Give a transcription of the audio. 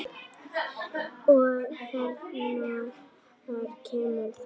Og hvenær kemur það?